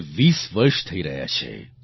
તેને 20 વર્ષ થઈ રહ્યા છે